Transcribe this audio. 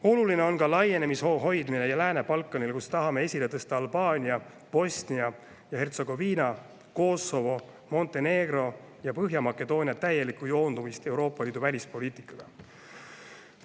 Samuti on oluline laienemishoo hoidmine Lääne-Balkanil, kus tahame esile tõsta Albaania, Bosnia ja Hertsegoviina, Kosovo, Montenegro ja Põhja-Makedoonia täielikku joondumist Euroopa Liidu välispoliitikaga.